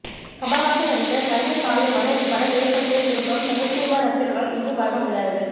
கமல்ஹாசன் நடித்த கண்ணீர் காவியமான இப்படம் ஏற்படுத்திய திருப்பம் தமிழ் சினிமா ரசிகர்களால் என்றும் மறக்க முடியாதது